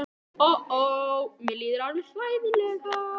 Ó, ó, mér líður alveg hræðilega.